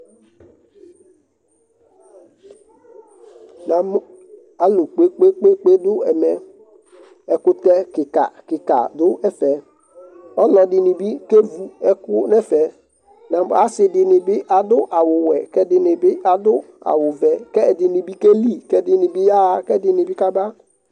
Namʋ alʋ kpekpekpe dʋ ɛmɛ, ɛkʋtɛ kika kika dʋ ɛfɛ, ɔlɔdini bi kevu n'ɛfɛ, adini bi adʋ awʋ wɛ k'ɛdini bi adʋ awʋ vɛ, k'ɛdini bi keli, k'ɛdini bi yaɣa, k'ɛdini bi kaba